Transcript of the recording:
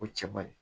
O cɛbari